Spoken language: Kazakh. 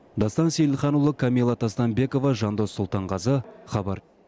дастан сейілханұлы камилла тастанбекова жандос сұлтанғазы хабар